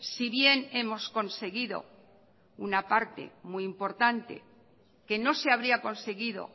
si bien hemos conseguido una parte muy importante que no se habría conseguido